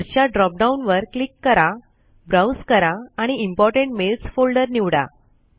पुढच्या drop down वर click करा ब्राउज करा आणि इम्पोर्टंट मेल्स फोल्डर निवडा